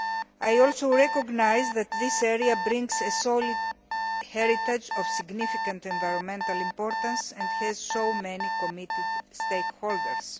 I also recognise that this area brings a solid heritage of significant environmental importance and has many committed stakeholders.